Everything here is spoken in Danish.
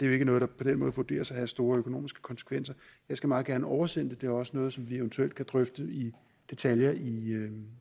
jo ikke noget der på den måde vurderes at have store økonomiske konsekvenser jeg skal meget gerne oversende det det er også noget som vi eventuelt kan drøfte i detaljer i